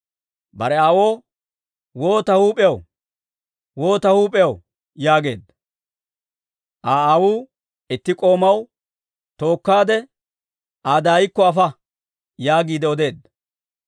Bare aawoo, «Woo ta huup'iyaw! Woo ta huup'iyaw!» yaageedda. Aa aawuu itti k'oomaw, «Tookkaade Aa daayikko afa» yaagiide odeedda.